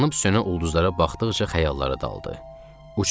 Yanıb sönə ulduzlara baxdıqca xəyallara daldı.